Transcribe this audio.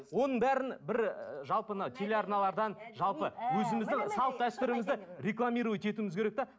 оның бәрін бір жалпы анау телеарналардан жалпы өзіміздің салт дәстүрімізді рекламировать етуміз керек те